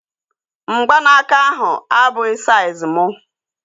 Mgbanaka ahu abụghị saiz mụ